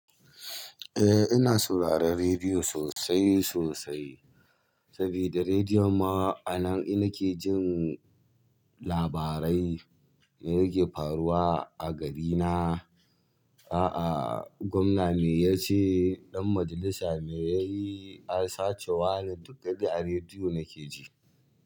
Eh ina sauraron rediyo sosai sosai, sabida rediyo ma a nan in nake jin labarai me yake faruwa a garina. A'a gwamna me yace, ɗan majalisa me yayi, an sace wani duka dai a rediyo nake ji.